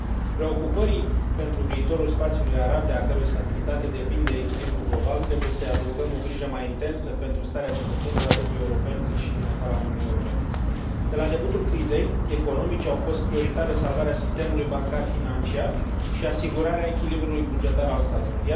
Preocupării pentru viitorul spațiului arab, de a cărui stabilitate depinde echilibrul global, trebuie să i adăugăm o grijă mai intensă pentru starea cetățenilor, atât europeni, cât și din afara Uniunii Europene. De la debutul crizei economice au fost prioritare salvarea sistemului financiar bancar și asigurarea echilibrului bugetar al statului.